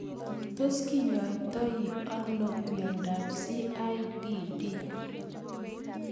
Tos kinyoitoi sno miondop CIDP